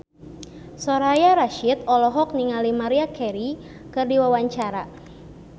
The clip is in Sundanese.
Soraya Rasyid olohok ningali Maria Carey keur diwawancara